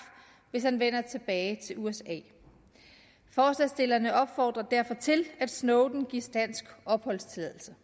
hvis han vender tilbage til usa forslagsstillerne opfordrer derfor til at snowden gives dansk opholdstilladelse